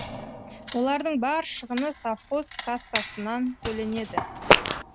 олардың бар шығыны совхоз кассасынан төленеді